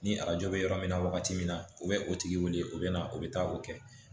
Ni arajo bɛ yɔrɔ min na wagati min na u bɛ o tigi wele u bɛ na u bɛ taa o kɛ